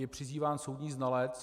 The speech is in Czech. Je zván soudní znalec.